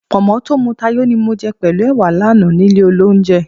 Pọ̀nmọ́ tí ó muta yó ni mo jẹ pẹ̀lú ẹwà lánàá nílé olóunjẹ